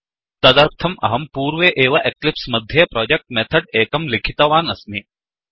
तदर्थं अहं पूर्वे एव एक्लिप्स् मध्ये प्रोजेक्ट् मेथड् एकं लिखितवान् अस्मि